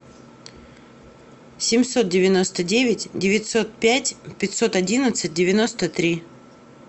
семьсот девяносто девять девятьсот пять пятьсот одиннадцать девяносто три